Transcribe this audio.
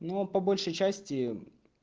но по большей части